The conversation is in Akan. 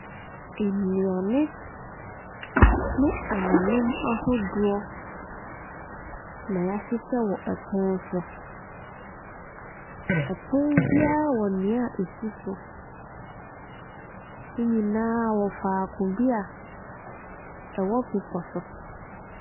Nnuane ne anonneɛ ahodoɔ na yahyehyɛ wɔ ɛpono so. Ɛpono biara wɔ nea ɛsi so, ne nyinaa faako bia ɛwɔ pebɔso.